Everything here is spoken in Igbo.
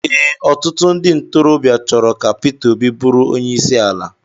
Ee, ọtụtụ ndị ntorobịa chọrọ ka Pita Óbị bụrụ onye isi ala.